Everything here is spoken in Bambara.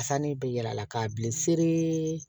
Ka sanni bɛ yira a la k'a bili seri